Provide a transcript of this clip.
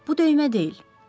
Bu döymə deyil.